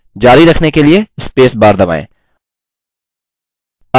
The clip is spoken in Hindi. जारी रखने के लिए space bar दबाएँ